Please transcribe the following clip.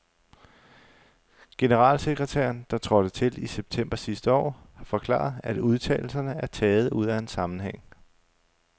Generalsekretæren, der trådte til i september sidste år, har forklaret, at udtalelserne er taget ud af en sammenhæng.